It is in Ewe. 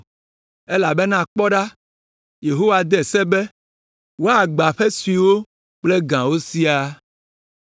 Elabena kpɔ ɖa, Yehowa de se be, woagbã aƒe suewo kple gãwo siaa.